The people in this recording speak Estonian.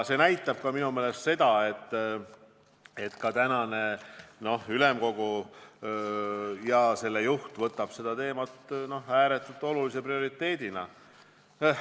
See näitab minu meelest seda, et tänane ülemkogu ja selle juht võtavad seda teemat ääretult olulise prioriteedina.